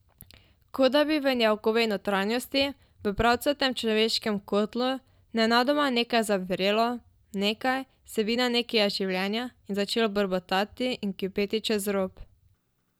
Kot da bi v njegovi notranjosti, v pravcatem človeškem kotlu, nenadoma nekaj zavrelo, nekaj, vsebina nekega življenja, in začelo brbotati in kipeti čez rob.